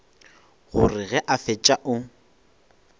gore ge a fetša o